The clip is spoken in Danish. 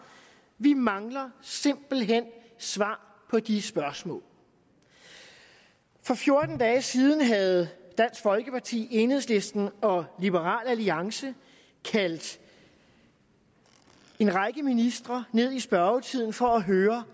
vi mangler simpelt hen svar på de spørgsmål for fjorten dage siden havde dansk folkeparti enhedslisten og liberal alliance kaldt en række ministre ned i spørgetiden for at høre